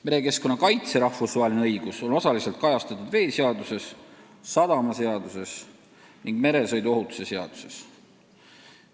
Merekeskkonna kaitse rahvusvaheline õigus on osaliselt kajastatud veeseaduses, sadamaseaduses ning meresõiduohutuse seaduses.